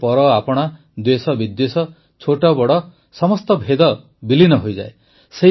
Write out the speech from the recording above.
ଏଥିରେ ପରଆପଣା ଦ୍ୱେଷବିଦ୍ୱେଷ ଛୋଟବଡ଼ ସମସ୍ତ ଭେଦ ବିଲୀନ ହୋଇଯାଏ